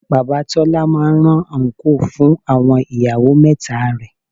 Bàbá Tọ́lá máa rán àńkò fún àwọn ìyàwó mẹ́ta rẹ̀